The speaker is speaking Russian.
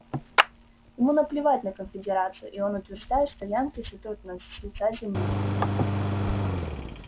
ему наплевать на конфедерацию и он утверждает что янки сотрут нас с лица земли